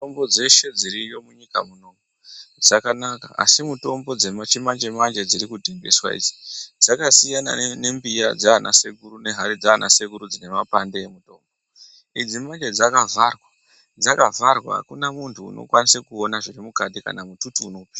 Mitombo dzeshe dziriyo munyika munomu dzakanaka, asi mutombo dzechi manje manje dziri kutengeswa idzi, dzaka siyana nembiya dzaana sekuru nehari dzaana sekuru dzine mapande. Idzi manje dzaka vharwa , dzaka vharwa akuna muntu uno kwanise kuona zviri mukati, kana mututu uno pinda.